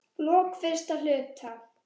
lok fyrsta hluta